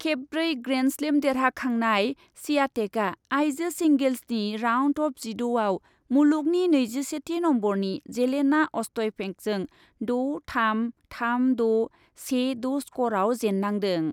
खेबब्रै grand slam देरहाखांनाय स्वियातेकआ आइजो सिंगेल्सनि राउन्ड अफ जिद'आव मुलुगनि नैजिसेथि नम्बरनि जेलेना अस्टयपेंकजों द' थाम, थाम द', से द' स्करआव जेन्नांदों।